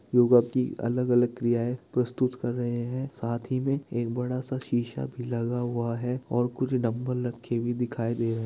गोया की अलग-अलग क्रियाएँ प्रस्तुत कर रहे हैं साथी में एक बड़ा सा शीशा भी लगा हुआ है और कुछ दब्बल रखी हुई दिखाई दे रही है।